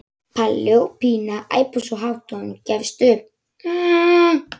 Palli og Pína æpa svo hátt að hún gefst upp.